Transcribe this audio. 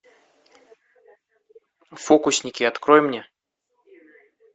фокусники открой мне